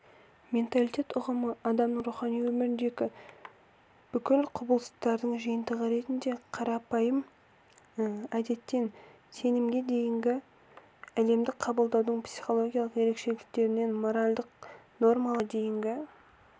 менталитет ұғымы адамның рухани өміріндегі бүкіл құбылыстардың жиынтығы ретінде қарапайым әдеттен сенімге дейінгі әлемді қабылдаудың психологиялық ерекшеліктерінен моральдық нормаларға дейінгі